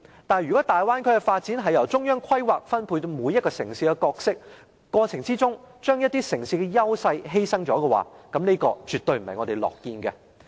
但是，如果大灣區的發展由中央規劃，由中央分配每個城市的角色，過程中卻把一些城市的優勢犧牲的話，這絕對不是我們樂見的。